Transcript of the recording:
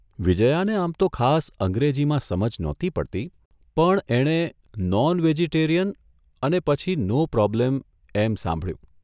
વિજ્યાને આમ તો ખાસ અંગ્રેજીમાં સમજ નહોતી પડતી પણ એને ' નોન વેજીટેરિયન ' અને પછી ' નો પ્રોબ્લેમ ' એમ સાંભળ્યું.